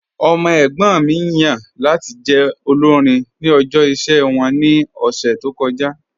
Ọmọ ẹ̀gbọ́n mi yan lati jẹ́ olórìn ni ọ̀jọ̀ iṣẹ wọn ni ọ̀ṣẹ̀ tó kọja